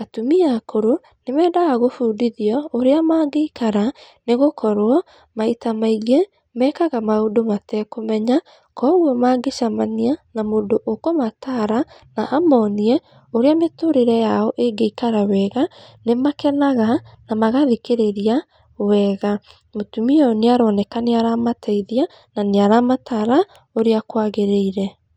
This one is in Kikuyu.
atumia akũrũ, nĩ mendaga gũbundithio ũrĩa mangĩikara, nĩ gũkorwo maita maingĩ mekaga maũndũ matekũmenya, kuoguo mangĩcemania na mũndũ ũkũmataara na amonie ũrĩa mĩtũrĩre yao ĩngĩikara wega, nĩ makenaga na magathikĩrĩria wega. Mutumia ũyũ nĩ aroneka nĩaramateithia, na nĩaramataara ũrĩa kwagĩrĩire.